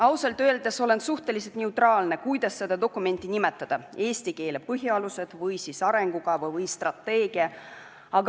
Ausalt öeldes olen suhteliselt neutraalne, kuidas seda dokumenti nimetada – eesti keele põhialused, arengukava või strateegia.